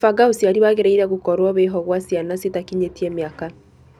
Kũbanga ũciari wangĩrĩire gũkorwo wĩho gwa ciana citakinyĩtie miaka.